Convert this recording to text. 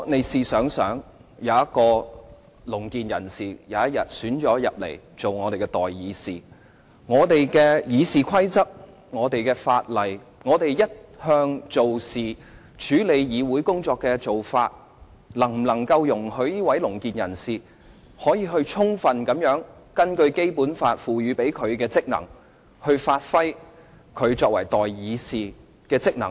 試想想，如果有一位聾健人士當選為代議士，我們的《議事規則》、法例和我們一向處理議會工作的做法，能否容許該位聾健人士充分根據《基本法》賦予他的職能，發揮他作為代議士的職能呢？